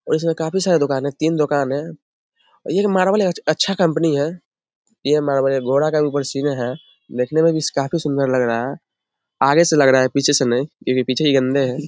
व इसमें काफी सारे दोकान है तीन दोकान है और ये एक मार्बल है अ अच्छा कंपनी है ये मार्बल है गोरा रंग देखने में भी काफी सुंदर लग रहा है आगे से लग रहा है पीछे से नहीं ये भी पीछे ही गंदे है ।